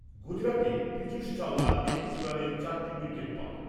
গুজরাটের পিযুষ চাওলা একুশ রানে চারটি উইকেট পায়।